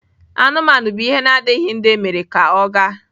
Anụmanụ bụ ihe na-adịghị ndụ emere ka ọ gaa.